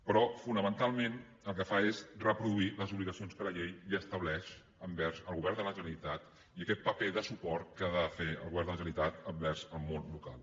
però fonamentalment el que fa és reproduir les obligacions que la llei ja estableix envers el govern de la generalitat i aquest paper de suport que ha de fer el govern de la generalitat envers el món local